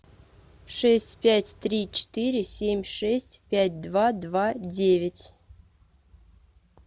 шесть пять три четыре семь шесть пять два два девять